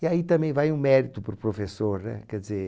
E aí também vai um mérito para o professor, né? Quer dizer